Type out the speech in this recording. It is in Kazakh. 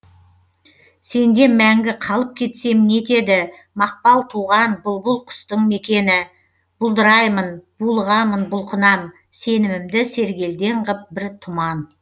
сенде мәңгі қалып кетсем не етеді мақпал туған бұлбұл құстың мекені бұлдыраймын булығамын бұлқынам сенімімді сергелдең ғып бір тұман